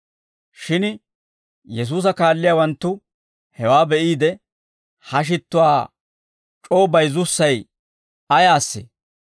Shin Yesuusa kaalliyaawanttu hewaa be'iide, «Ha shittuwaa c'oo bayizzussay ayaasee?